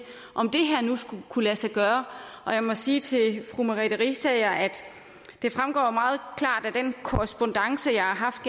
om det her nu skulle kunne lade sig gøre og jeg må sige til fru merete riisager at det meget klart fremgår af den korrespondance jeg har haft